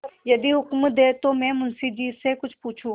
यदि हुक्म दें तो मैं मुंशी जी से कुछ पूछूँ